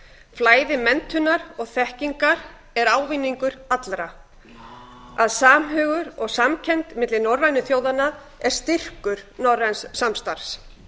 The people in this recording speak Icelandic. flæði menntunar og þekkingar er ávinningur allra að samhugur og samkennd milli norrænu þjóðanna er styrkur norræns samstarfs